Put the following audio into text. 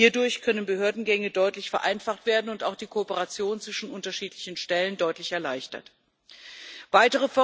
Hierdurch können Behördengänge deutlich vereinfacht werden, und auch die Kooperation zwischen unterschiedlichen Stellen kann deutlich erleichtert werden.